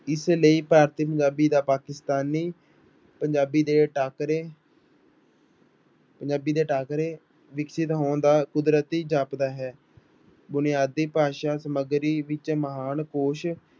ਇਸ ਲਈ ਭਾਰਤੀ ਪੰਜਾਬੀ ਦਾ ਪਾਕਿਸਤਾਨੀ ਪੰਜਾਬੀ ਦੇ ਟਾਕਰੇ ਪੰਜਾਬੀ ਦੇ ਟਾਕਰੇ ਵਿਕਸਿਤ ਹੋਣ ਦਾ ਕੁਦਰਤੀ ਜਾਪਦਾ ਹੈ, ਬੁਨਿਆਦੀ ਭਾਸ਼ਾ ਸਮੱਗਰੀ ਵਿੱਚ ਮਹਾਨ ਕੋਸ਼